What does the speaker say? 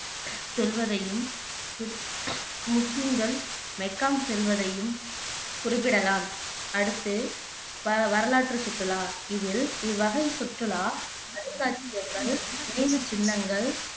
செல்வதையும் கிருத் முஸ்லீம்கள் மெக்கா செல்வதையும் குறிப்பிடலாம் அடுத்து வ வரலாற்று சுற்றுலா இதில் இவ்வகை சுற்றுலா அருங்காட்சியகங்கள், நினைவுச்சின்னங்கள்